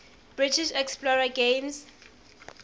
british explorer james